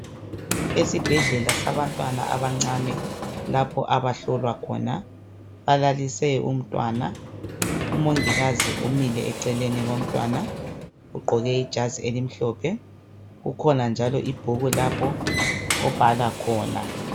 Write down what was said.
Esibhedlela sabantwana abancane lapho abahlolwa khona balalise umntwana umongikazi umile eceleni komntwana ugqoke ijazi elimhlophe kukhona njalo ibhuku lapho obhala khona.